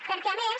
perquè a més